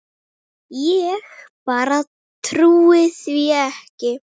Ég bara trúi því ekki.